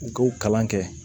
U k'o kalan kɛ